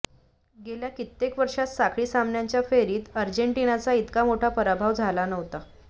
गेल्या कित्येक वर्षात साखळी सामन्यांच्या फेरीत अर्जेंटिनाचा इतका मोठा पराभव झाला नव्हता